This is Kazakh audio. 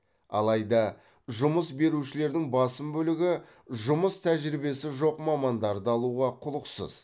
алайда жұмыс берушілердің басым бөлігі жұмыс тәжірибесі жоқ мамандарды алуға құлықсыз